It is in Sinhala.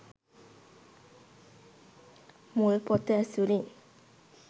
මුල් පොත ඇසුරින්